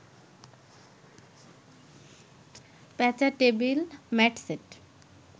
পেঁচা, table mat set